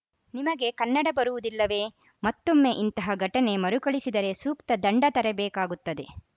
ನಿಮಗೆ ಕನ್ನಡ ಬರುವುದಿಲ್ಲವೇ ಮತ್ತೊಮ್ಮೆ ಇಂತಹ ಘಟನೆ ಮರುಕಳಿಸಿದರೆ ಸೂಕ್ತ ದಂಡ ತೆರಬೇಕಾಗುತ್ತದೆ